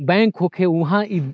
bank होखे उहा इ --